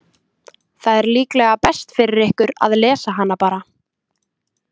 Það er líklega best fyrir ykkur að lesa hana bara.